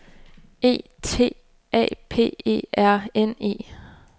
E T A P E R N E